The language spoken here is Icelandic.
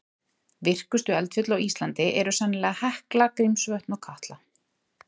Virkustu eldfjöll á Íslandi eru sennilega Hekla, Grímsvötn og Katla.